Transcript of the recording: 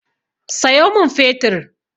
Sayo min fetir!